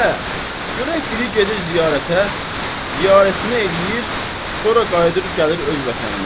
Aə, görək biri gedir ziyarətə, ziyarətini eləyir, sonra qayıdır gəlir öz vətəninə.